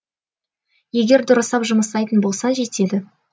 егер дұрыстап жұмсайтын болсаң жетеді